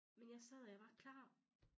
Men jeg sad og jeg var klar